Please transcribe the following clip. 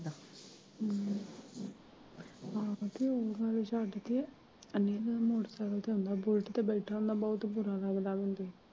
ਹਮ ਆਪਦੀ ਅੋਰਤ ਨੂੰ ਛੱਡ ਕੇ ਇੰਨਾਂ ਨਾਲ ਮੋਟਰਸਾਈਕਲ ਤੇ ਆਉਂਦਾ ਬੁਲਟ ਤੇ ਬੈਠਾ ਹੁੰਦਾ ਬਹੁਤ ਬੁਰਾ ਲੱਗਦਾ ਮਿਨੂੰ।